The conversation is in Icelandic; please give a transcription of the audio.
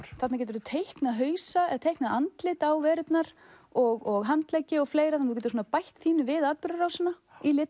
þarna geturðu teiknað hausa eða teiknað andlit á verurnar og handleggi og fleira þú getur svona bætt þínu við atburðarásina